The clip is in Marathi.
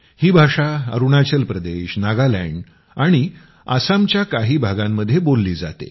ही भाषा अरूणाचल प्रदेश नागालॅंड आणि आसामच्या काही भागामध्ये बोलली जाते